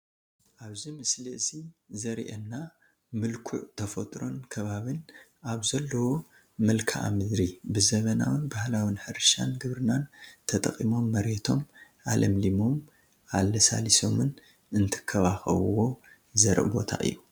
ኣብዚ ምስሊ እዚ ዘሪኤና ምልኩዕ ተፈጥሮን ኣከባብን ኣብ ዘለዎ መልክኣ-ምድሪ ብዘበናውን ባህላው ሕርሻን ግብርናን ተጠቒሞም መሬቶም ኣልሚዖምን ኣለሳሊሶምን እንትከባከቡዎ ዘርኢ ቦታ እዩ፡፡